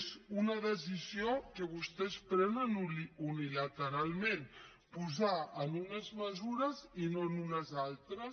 és una decisió que vostès prenen unilateralment posar ne en unes mesures i no en unes altres